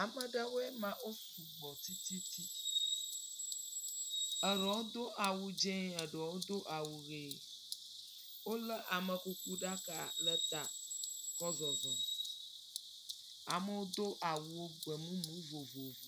Ame aɖewoe ma wo sugbɔ tsitsitsi. Eɖewo do awu dzi eɖewo do awu ʋi. wole amekukuɖaka le ta kɔ zɔzɔm. Amewo do awu gbemumu vovovo.